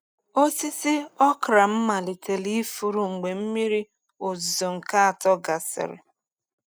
Osisi okra m malitere ifuru mgbe mmiri ozuzo nke atọ gasịrị.